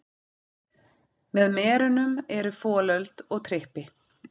Með merunum eru folöld og trippi.